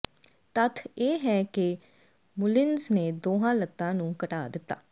ਤੱਥ ਇਹ ਹੈ ਕਿ ਮੁਲਿਨਜ਼ ਨੇ ਦੋਹਾਂ ਲੱਤਾਂ ਨੂੰ ਘਟਾ ਦਿੱਤਾ